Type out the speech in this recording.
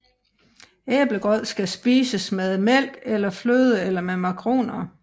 Æblegrød kan spises med mælk eller fløde eller med makroner